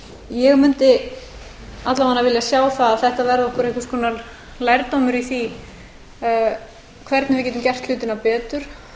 ég mundi alla vega vilja sjá það að þetta verði okkur einhvers konar lærdómur í því hvernig við getum gert hlutina betur